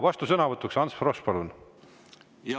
Vastusõnavõtt, Ants Frosch, palun!